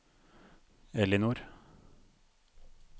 Elinor